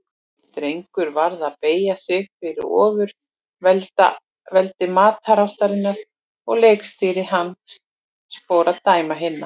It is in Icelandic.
Drengur varð að beygja sig fyrir ofurveldi matarástarinnar og leiksystir hans fór að dæmi hinna.